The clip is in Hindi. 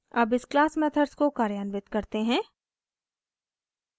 अब इस क्लास मेथड्स को कार्यान्वित करते हैं